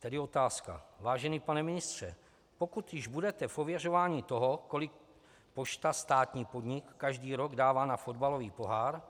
Tedy otázka: Vážený pane ministře, pokud již budete v ověřování toho, kolik pošta, státní podnik, každý rok dává na fotbalový pohár,